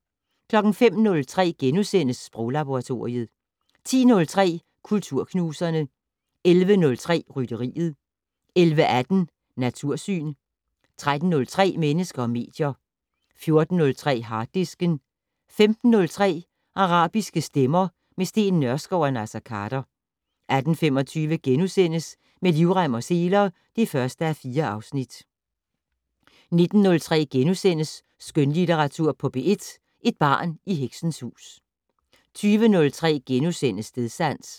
05:03: Sproglaboratoriet * 10:03: Kulturknuserne 11:03: Rytteriet 11:18: Natursyn 13:03: Mennesker og medier 14:03: Harddisken 15:03: Arabiske stemmer - med Steen Nørskov og Naser Khader 18:25: Med livrem og seler (1:4)* 19:03: Skønlitteratur på P1: Et barn i heksens hus * 20:03: Stedsans *